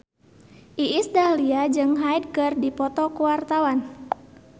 Iis Dahlia jeung Hyde keur dipoto ku wartawan